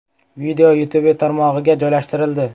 Video YouTube tarmog‘iga joylashtirildi.